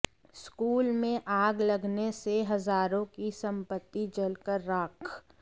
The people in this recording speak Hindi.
स्कूल में आग लगने से हजारों की संपत्ति जलकर राख